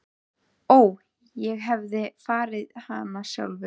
Ó að ég hefði farið hana sjálfur.